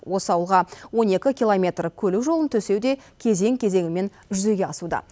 осы ауылға он екі километр көлік жолын төсеу де кезең кезеңімен жүзеге асуда